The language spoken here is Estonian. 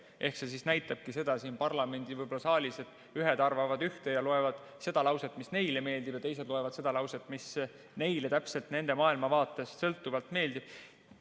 See näitabki võib-olla seda siin parlamendi saalis, et ühed arvavad üht ja loevad seda lauset, mis neile meeldib, ja teised loevad seda lauset, mis neile täpselt nende maailmavaatest sõltuvalt meeldib.